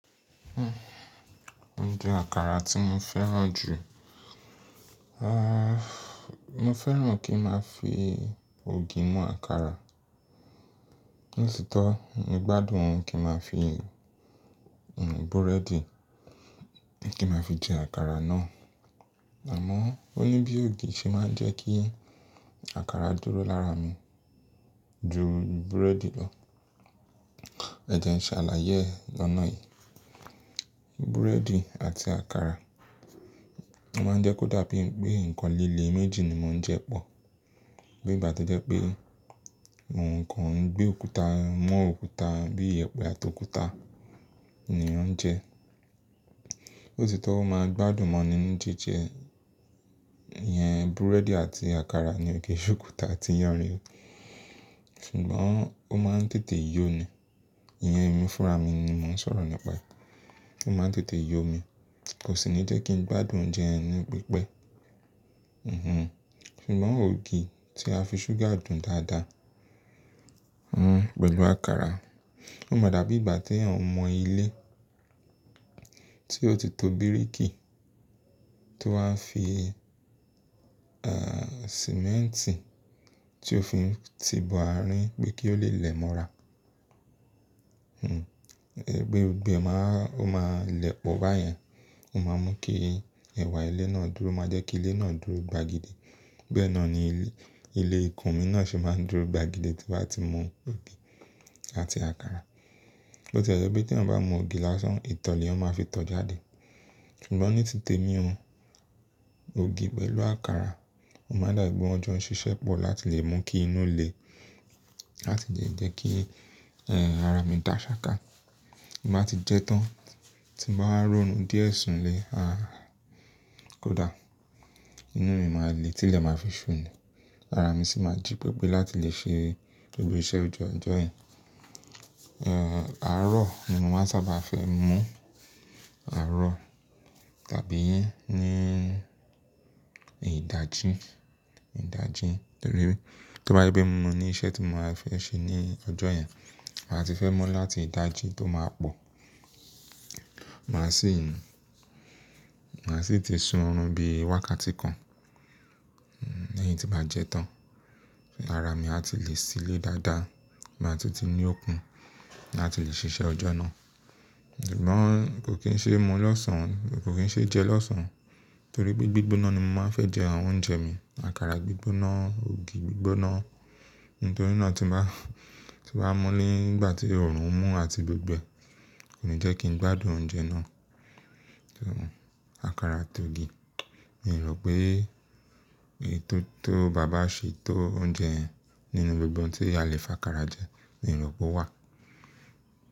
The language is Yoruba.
O jẹ àkàrà tí mo fẹ́ràn jù. Mo fẹ́ràn kí n máa fi ògì mu àkàrà. Ní ṣítò, mo gbádùn kí n máa fi, hmm búrẹ́dì, kí n máa fi jẹ àkàrà náà. Àmọ́ òní bí ògì ṣe máa ń jẹ́ kí àkàrà dúró lára mi ju búrẹ́dì lọ. Ẹ jẹ ìṣẹ̀lẹ̀ ayé lọnà yìí. Búrẹ́dì àti àkàrà máa ń jẹ́ kó dàbí pé nǹkan léélé méjì ni mò ń jẹ pọ̀. Bí ìgbà to jẹ́ pé mo nǹkan gbé òkúta mo òkúta bí ìyẹ̀pẹ̀ àti òkúta ni òun jẹ. Lotítò ó máa ń gbádùn mọ́ni ní jíjẹ, ìyẹn búrẹ́dì àti àkàrà ni ò kì ṣòkúta ti iyàn ní. Ṣùgbọ́n ó máa ń tètè yó ni. Ìyẹn ẹmí fúnrà mi ni mò ń sọ̀rọ̀ nípa e. Ó máa ń tètè yó mi, kò sì ní jẹ́ kí n gbádùn oúnjẹ yen ni pípẹ́. Ṣùgbọ́n ògì tí a fi ṣúgà dùn dáadáa, hmm pẹ̀lú àkàrà, ó máa dàbí ìgbà t'èèyàn mọ ilé tí ó ti to bíríkì tó wá fi, eh sìmẹ́ǹtì tí ó fi ti bo àárín pé kí ó lè lẹ́ mọ́ra. Gbogbo e máa ń, ó máa lẹlọ̀ báyẹn. Ó máa mú kí ẹ̀wà ilé náà dúró, o máa jẹ́ kí ilé náà dúró gbagide. Bẹ́ẹ̀ náà ni ilé, ilé ìkún mi náà ṣe máa ń dúró gbagidi tí bá ti mu ògì àti àkàrà. Bó tí ẹ jẹ́ pé t'èèyàn bá mu ògì lásán, ìtọ̀ l'èèyàn máa fi tọ́ jáde. Ṣùgbọ́n ní títèmi ò ògì pẹ̀lú àkàrà ó máa n dàbí pe wón jọ n ṣiṣẹ́ pọ̀ láti lè mú kí inú lè láti lẹ́ jẹ́ kí, eh ara mi dà ṣakà. Bí màá ti jẹ tán, tí màá rọ̀rùn díẹ̀ sùn lè, ah kó dà. Inú mi máa le, tí ilẹ̀ máa fi sú ni. Ara mi sì máa jí pẹpẹ láti lè ṣe gbogbo iṣẹ́ ojú ọjọ́ yẹn. Eh àárọ̀ ni mo máa sábà fẹ́ mú, àárọ̀ tàbí ní ìdájí, ìdájí torí bí tó bá yé pé mo mú ní iṣẹ́ tí mo máa fẹ́ ṣe ní ọjọ́ yẹn, màá ti fẹ́ mú láti ìdájí tó máa pọ̀. Màá sì, màá sì ti sun ọ̀run bí wákàtí kan. Lẹ́yìn tí màá jẹ tán. Ara mi a ti lè ṣilé dáadáa, màá ti ti ní okun láti lè ṣiṣẹ́ ọjọ́ náà. Ṣùgbọ́n kò kín ṣe mu lọ́sàn-án, kò kín ṣe jẹ lọ́sàn-án torí pé gbígbóná ni mo máa fẹ́ jẹ àwọn oúnjẹ mi. Àkàrà gbígbóná, ògì gbígbóná. Nitorinaa, tí n bá, tí n bá mú nígbà tí òòrùn ń mú àti gbígbẹ kò ní jẹ́ kí n gbádùn oúnjẹ náà. Àkàrà àtògî. Mi ò rò pé ètò tó baba ṣe tó oúnjẹ nínú gbogbo ohun tí a lè fà àkàrà jẹ, mi ò rò pé ó wà.